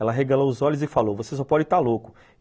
Ela arregalou os olhos e falou, você só pode está louco.